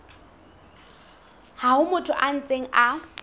ha motho a ntse a